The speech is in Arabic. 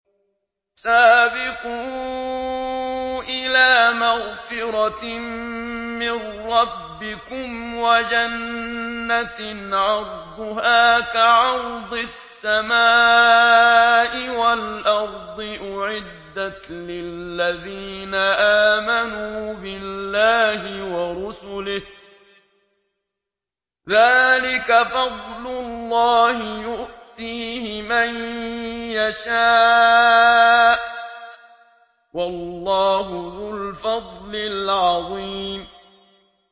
سَابِقُوا إِلَىٰ مَغْفِرَةٍ مِّن رَّبِّكُمْ وَجَنَّةٍ عَرْضُهَا كَعَرْضِ السَّمَاءِ وَالْأَرْضِ أُعِدَّتْ لِلَّذِينَ آمَنُوا بِاللَّهِ وَرُسُلِهِ ۚ ذَٰلِكَ فَضْلُ اللَّهِ يُؤْتِيهِ مَن يَشَاءُ ۚ وَاللَّهُ ذُو الْفَضْلِ الْعَظِيمِ